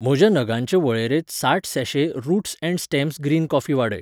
म्हज्या नगांचे वळेरेंत साठ सैैशे roots and stems green coffee वाडय.